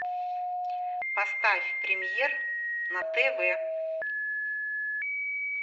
поставь премьер на тв